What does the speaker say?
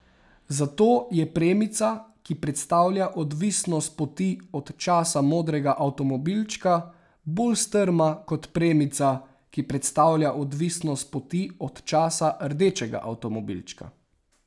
Zato je premica, ki predstavlja odvisnost poti od časa modrega avtomobilčka, bolj strma kot premica, ki predstavlja odvisnost poti od časa rdečega avtomobilčka.